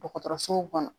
Dɔgɔtɔrɔsow kɔnɔ